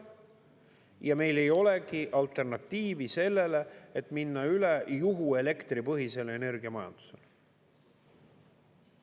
Ja meil ei olegi alternatiivi sellele, et minna üle juhuelektripõhisele energiamajandusele.